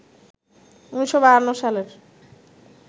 ১৯৫২ সালের